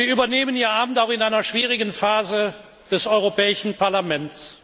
Sie übernehmen Ihr Amt auch in einer schwierigen Phase für das Europäische Parlament.